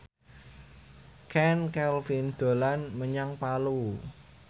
Chand Kelvin dolan menyang Palu